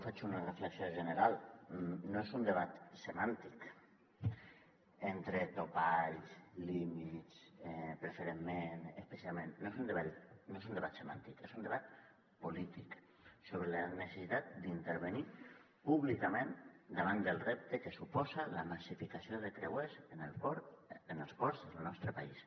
faig una reflexió general no és un debat semàntic entre topalls límits preferentment especialment no és un debat semàntic és un debat polític sobre la necessitat d’intervenir públicament davant del repte que suposa la massificació de creuers en els ports del nostre país